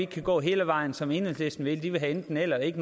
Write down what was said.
kan gå hele vejen som enhedslisten vil for de vil have enten eller og ikke